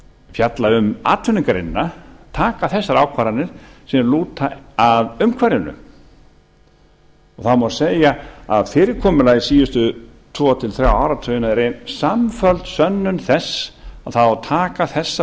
fjalla um atvinnugreinina taka þessar ákvarðanir sem lúta að umhverfinu það má segja að fyrirkomulagið síðustu tvo til þrjá áratugina er ein samfelld sönnun þess að það á að taka þessa